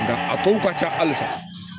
Nka a kow ka ca halisa